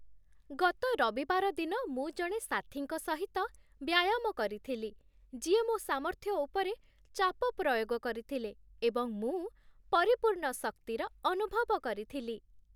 ଗତ ରବିବାରଦିନ ମୁଁ ଜଣେ ସାଥୀଙ୍କ ସହିତ ବ୍ୟାୟାମ କରିଥିଲି, ଯିଏ ମୋ ସାମର୍ଥ୍ୟ ଉପରେ ଚାପ ପ୍ରୟୋଗ କରିଥିଲେ, ଏବଂ ମୁଁ ପରିପୂର୍ଣ୍ଣ ଶକ୍ତିର ଅନୁଭବ କରିଥିଲି